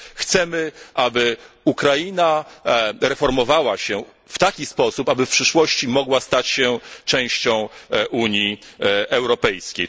Chcemy, aby Ukraina reformowała się w taki sposób, aby w przyszłości mogła stać się częścią Unii Europejskiej.